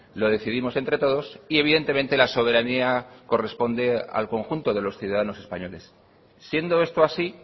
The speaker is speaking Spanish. lo decidimos entre todos y evidentemente la soberanía corresponde al conjunto de los ciudadanos españoles siendo esto así